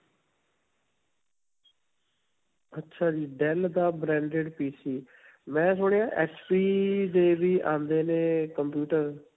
ਅੱਛਾ ਜੀ. dell ਦਾ branded PC ਮੈਂ ਸੁਣਇਆ HP ਦੇ ਵੀ ਆਉਂਦੇ ਨੇ computer.